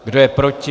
Kdo je proti?